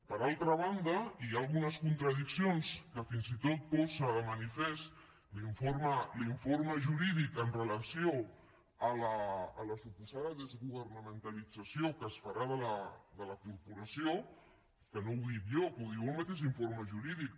per altra banda hi ha algunes contradiccions que fins i tot posa de manifest l’informe jurídic amb relació a la suposada desgovernamentalització que es farà de la corporació que no ho dic jo que ho diu el mateix informe jurídic